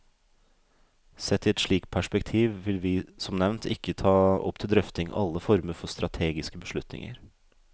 Sett i et slikt perspektiv vil vi, som nevnt, ikke ta opp til drøfting alle former for strategiske beslutninger.